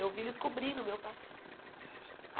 Eu vi eles cobrindo o meu pai.